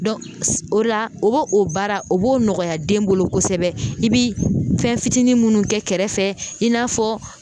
o la o baara o b'o nɔgɔya den bolo kosɛbɛ i bɛ fɛn fitinin minnu kɛ kɛrɛfɛ i n'a fɔ.